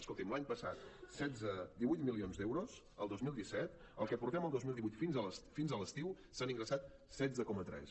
escolti’m l’any passat divuit milions d’euros el dos mil disset el que portem del dos mil divuit fins a l’estiu se n’han ingressat setze coma tres